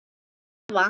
Ég verð að horfa.